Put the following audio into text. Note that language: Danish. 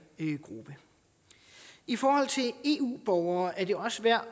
gruppe i forhold til eu borgere er det også værd